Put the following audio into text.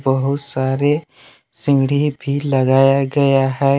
बहुत सारे सीढ़ी भी लगाया गया है।